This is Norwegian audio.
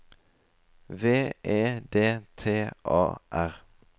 V E D T A R